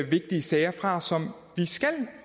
vigtige sager fra som vi skal